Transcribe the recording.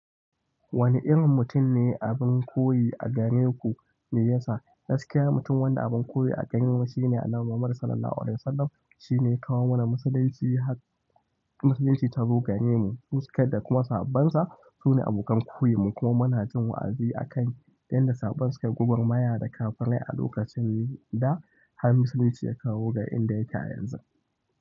Wane irin mutum ne abin koyi a gare ku? Meyasa gaskiya mutum wanda abin koyi a gare mu shine Annabi Muhammad Sallallahu Alaihi Wasallam. Shine ya kawo mana Musulunci har, Musulunci ta zo garemu, suka da kuma sahabbonsa. Su ne abokan koyon mu, kuma muna jin wa'azi a kan yadda sabon suka, gwagwarmaya da kafirai a lokacin daa har Musulunci ya kawo ga inda yake a yanzu.